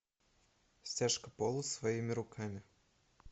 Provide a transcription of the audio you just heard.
стяжка пола своими руками